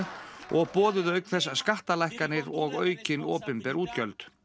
og boðuðu auk þess skattalækkanir og aukin opinber útgjöld